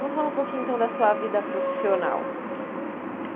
Vamos falar um pouquinho, então, da sua vida profissional.